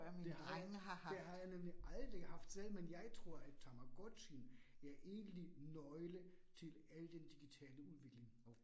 Det har jeg, det har jeg nemlig aldrig haft selv, men jeg tror, at Tamagochien er egentlig nøgle til alt den digitale udvikling